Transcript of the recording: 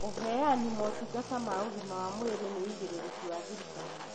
ũheani motungata ma ũgima wa mwĩrĩ nĩ ũigĩrĩrĩki wa thirikari